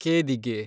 ಕೇದಿಗೆ